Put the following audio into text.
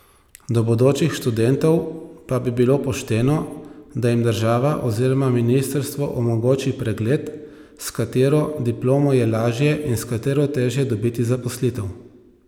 Do bodočih študentov pa bi bilo pošteno, da jim država oziroma ministrstvo omogoči pregled, s katero diplomo je lažje in s katero težje dobiti zaposlitev.